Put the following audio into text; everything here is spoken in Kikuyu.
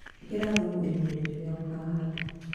Ũkĩra thumu irima-inĩ rĩrĩa ũkũhanda.